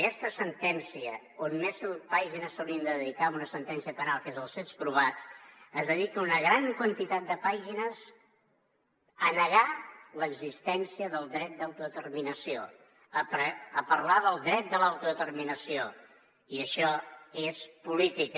aquesta sentència on més pàgines s’haurien de dedicar a una sentència penal que és als fets es dedica una gran quantitat de pàgines a negar l’existència del dret a l’autodeterminació a parlar del dret de l’autodeterminació i això és política